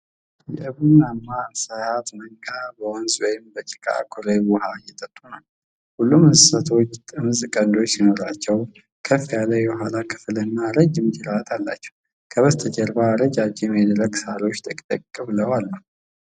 የቡናማ እንስሳት መንጋ በወንዝ ወይም በጭቃማ ኩሬ ውሃ እየጠጡ ነው። ሁሉም እንስሳቶች ጥምዝ ቀንዶች ሲኖሯቸው፣ ከፍ ያለ የኋላ ክፍልና ረጅም ጅራት አላቸው። ከበስተጀርባ ረጃጅም የደረቁ ሳሮች ጥቅጥቅ ብለው አሉ።